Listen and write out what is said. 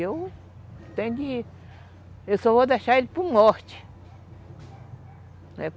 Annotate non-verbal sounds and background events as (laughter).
(unintelligible) Eu só vou deixar ele por morte.